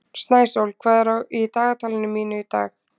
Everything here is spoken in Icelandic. Snæsól, hvað er í dagatalinu mínu í dag?